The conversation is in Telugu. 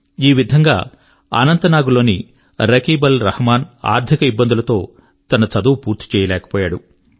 ఈ విధంగా అనంత నాగ్ లోని రకీబ్అల్రహమాన్ ఆర్థిక ఇబ్బందుల తో తన చదువు పూర్తి చేయలేకపోయాడు